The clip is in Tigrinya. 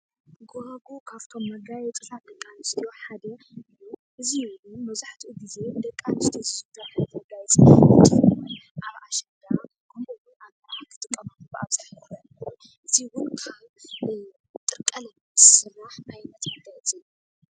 ጎባጉብ ካብቶም መጋየፂታት ደቂ ኣንስትዮ ሓደ እዩ፡፡ እዙይ ውን መብዛሕትኡ ግዜ ደቂ ኣንስትዮ ዘጋይፃሉ እንትኸውን ኣብ ኣሸንዳ ከምኡ ውን ኣብ መርዓ ዝጥቀማሉ እዙይ ውን ካብ ጥርቀለም ዝስራሕ ዓይነት መጋየፂ እዩ፡፡